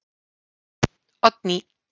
Oddný